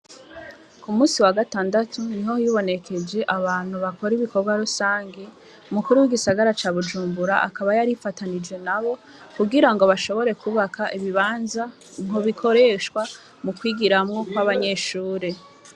Ku musi wa gatandatu ni ho yibonekeje abantu bakore ibikorwa rusange mukuru w'igisagara ca bujumbura akaba yarifatanije na bo kugira ngo bashobore kubaka ibibanza nko bikoreshwa mu kwigiramwo kw'abanyeshure.